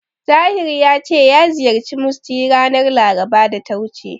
Tahir ya ce ya ziyarci Musty ranar Larabar da ta wuce.